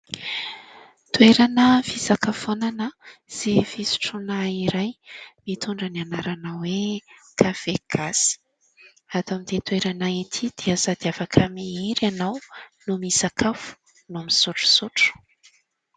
Toerana fisakafoanana sy fisotroana iray mitondra ny anarana hoe "Kafé Gasy". Ato amin'ity toerana ity dia sady afaka mihira ianao no misakafo no misotrosotro.